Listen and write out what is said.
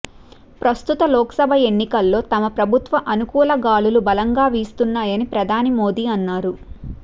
ప్రస్తుత లోక్సభ ఎన్నికల్లో తమ ప్రభుత్వ అనుకూల గాలులు బలంగా వీస్తున్నాయని ప్రధాని మోదీ అన్నారు